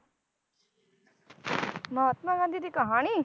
ਮਹਾਤਮਾ ਗਾਂਧੀ ਦੀ ਕਹਾਣੀ?